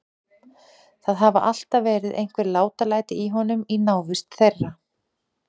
Það hafa alltaf verið einhver látalæti í honum í návist þeirra.